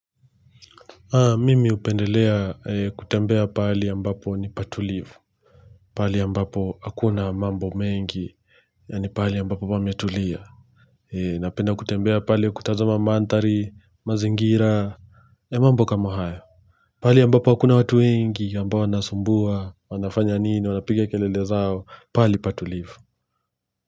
Mimi hupendelea kutembea pahali ambapo ni patulivu pahali ambapo hakuna mambo mengi Yaani pahali ambapo pametulia Napenda kutembea pale kutazama manthari, mazingira na mambo kama hayo pahali ambapo hakuna watu wengi, ambao wanasumbua, wanafanya nini, wanapigia kelele zao pahali patulivu.